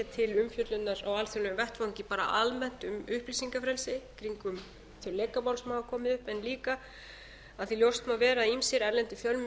til umfjöllunar á alþjóðlegum vettvangi bara almennt um upplýsingafrelsi kringum þau lekamál sem hafa komið upp en líka af því að ljóst má vera að ýmsir erlendir fjölmiðlar